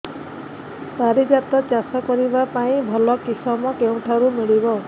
ପାରିଜାତ ଚାଷ କରିବା ପାଇଁ ଭଲ କିଶମ କେଉଁଠାରୁ ମିଳିବ